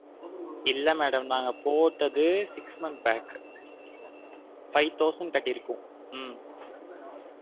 இல்ல madam நாங்க போட்டது six month pack five thousand கட்டிருக்கோம் உம்